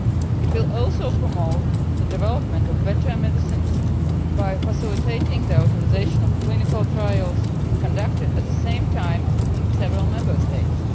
It will also promote the development of better medicines by facilitating the authorisation of clinical trials conducted at the same time in several Member States.